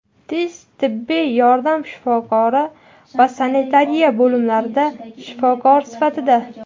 tez tibbiy yordam shifokori va sanitariya bo‘limlarida shifokor sifatida;.